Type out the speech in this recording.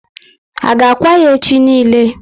A ga akwa ya echi niile?